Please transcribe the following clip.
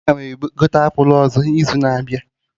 Ee. 8897aga m egote apụl ọzọ n'izu na-abịa